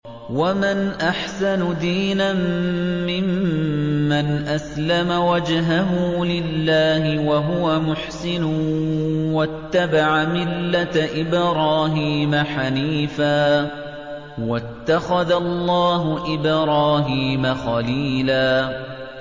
وَمَنْ أَحْسَنُ دِينًا مِّمَّنْ أَسْلَمَ وَجْهَهُ لِلَّهِ وَهُوَ مُحْسِنٌ وَاتَّبَعَ مِلَّةَ إِبْرَاهِيمَ حَنِيفًا ۗ وَاتَّخَذَ اللَّهُ إِبْرَاهِيمَ خَلِيلًا